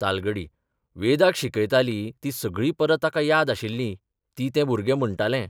तालगडी वेदाक शिकयतालीं तीं सगळीं पदां ताका याद आशिल्लीं तीं तें भुरगें म्हणटालें.